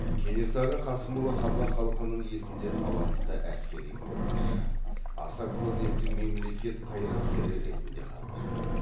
кенесары қасымұлы қазақ халқының есінде талантты әскери қолбасшы аса көрнекті мемлекет қайраткері ретінде қалды